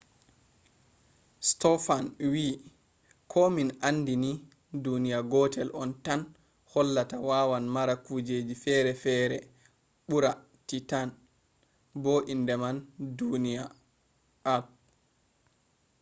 stofan wii ko min andi ni duniya gotel on tan hollata wawan mara kujeji ferefere ɓura titan bo inde man duniya earth